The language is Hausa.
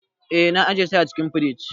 Eh, na ajiye su a cikin firij.